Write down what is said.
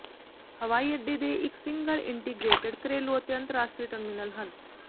ਹਵਾਈ ਅੱਡੇ ਦੇ ਇਕ ਸਿੰਗਲ ਇੰਟੀਗਰੇਟਡ ਘਰੇਲੂ ਅਤੇ ਅੰਤਰਰਾਸ਼ਟਰੀ ਟਰਮੀਨਲ ਹਨ